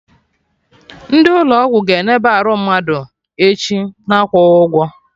Ndị ụlọ ọgwụ ga-eneba arụ mmadụ echi, na-akwụghị ụgwọ